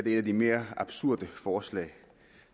et af de mere absurde forslag